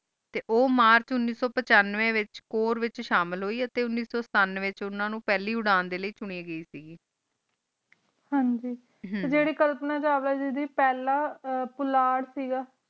T ਓ March ਉਨੀਸ ਸੋ ਪਾਚੰਵਾਯ ਵਹਿਚ ਕੋਆਰ ਵਿਚ ਸ਼ਾਮਿਲ ਹੋਈ ਟੀ ਉਨੀਸ ਸੋ ਸਤੁਨ੍ਵ੍ਯ ਵਿਚ ਓਨਾ ਨੂ ਪਹਲੀ ਉਰਾਂ ਸੁਨੀ ਗਈ ਕ ਹਾਂਜੀ ਹਮ ਟੀ ਜੇਰੀ ਛੁਲ੍ਪਾਨਾ ਦਾ ਹਿਸਾਬ ਲੀਏ ਟੀ ਪਹਲਾ ਪੋਲਟ ਕ ਗਾ